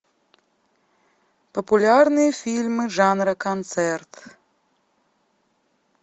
популярные фильмы жанра концерт